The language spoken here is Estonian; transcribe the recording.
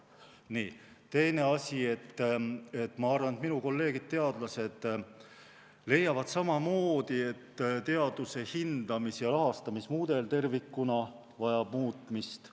Teine asi, et ma arvan, et minu kolleegid teadlased leiavad samamoodi, et teaduse hindamis- ja rahastamismudel tervikuna vajab muutmist.